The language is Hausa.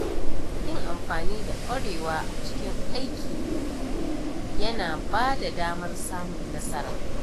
Yin amfani da kwarewa a cikin aiki ya na bada damar samun nasara.